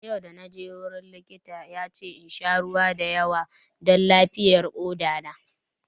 Yau da naje gurin likita ya ce insha ruwa da yawa don lafiyar koɗa na